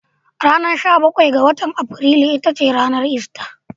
Ranar sha bakwai ga Afrilu ita ce ranar ister.